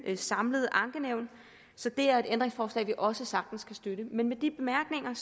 samlede ankenævn så det er et ændringsforslag vi også sagtens kan støtte men med de bemærkninger